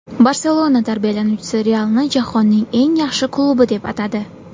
"Barselona" tarbiyalanuvchisi "Real"ni jahonning eng yaxshi klubi deb atadi.